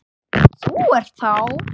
Þú ert þá?